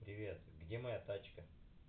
привет где моя тачка